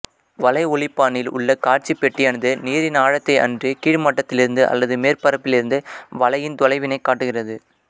வலை ஒலிப்பானில் உள்ள காட்சிப் பெட்டியானது நீரின் ஆழத்தை அன்றி கீழ்மட்டத்திலிருந்து அல்லது மேற்பரப்பிலிருந்து வலையின் தொலைவினைக் காட்டுகிறது